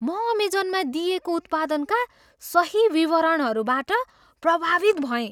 म अमेजनमा दिइएको उत्पादनका सही विवरणहरूबाट प्रभावित भएँ।